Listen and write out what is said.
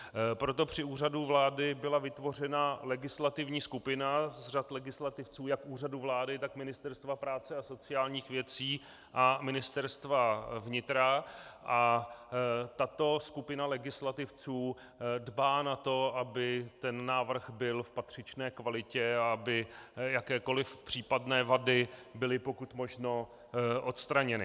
Proto při Úřadu vlády byla vytvořena legislativní skupina z řad legislativců jak Úřadu vlády, tak Ministerstva práce a sociálních věcí a Ministerstva vnitra a tato skupina legislativců dbá na to, aby ten návrh byl v patřičné kvalitě a aby jakékoliv případné vady byly pokud možno odstraněny.